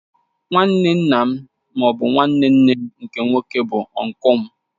Nwanne nna m ma ọ bụ nwanne nne m nke nwoke bụ ọnklu m